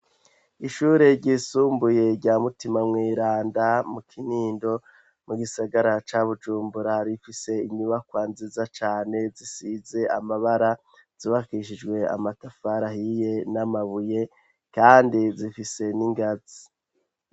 Ishure ryisumbuye rya mutima mwiranda mu kinindo mu gisagara ca bujumbura rifise inyubakwa nziza cane zisize amabara zibakishijwe amatafar ahiye n'amabuye kandi zifise n'ingazi.